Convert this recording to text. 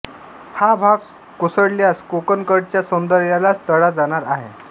हा भाग कोसळल्यास कोकणकड्याच्या सौंदर्यालाच तडा जाणार आहे